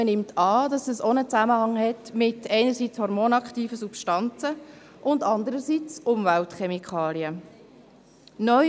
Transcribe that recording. Man nimmt an, dass dies einerseits mit hormonaktiven Substanzen, andererseits mit Umweltchemikalien in Zusammenhang steht.